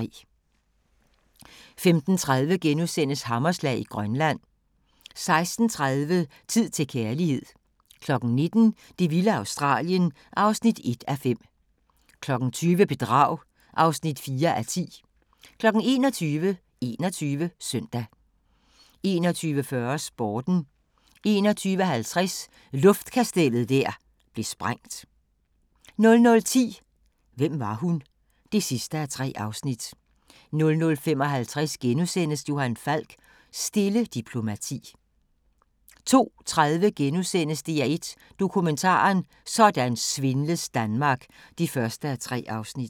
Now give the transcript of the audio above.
15:30: Hammerslag i Grønland * 16:30: Tid til kærlighed 19:00: Det vilde Australien (1:5) 20:00: Bedrag (4:10) 21:00: 21 Søndag 21:40: Sporten 21:50: Luftkastellet der blev sprængt 00:10: Hvem var hun? (3:3) 00:55: Johan Falk: Stille diplomati * 02:30: DR1 Dokumentaren: Sådan svindles Danmark (1:3)*